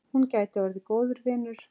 Hún gæti orðið góður vinur.